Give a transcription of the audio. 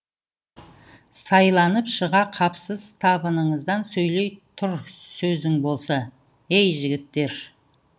сайланып шыға қапсыз табыңыздан сөйлей тұр сөзің болса ей жігіттер